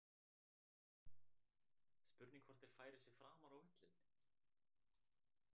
Spurning hvort þeir færi sig framar á völlinn.